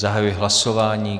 Zahajuji hlasování.